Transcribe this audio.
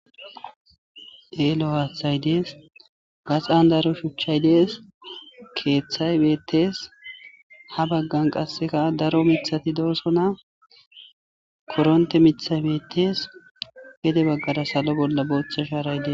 Elo hathay dees gaxan daro shuchay dees kethay betes ha bagan qaseka daro mithatido'sona korote mithayi betes gede bagara salo bolla botha sharay de'es